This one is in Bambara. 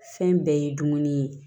Fɛn bɛɛ ye dumuni ye